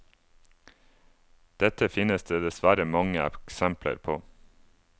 Dette finnes det dessverre mange eksempler på.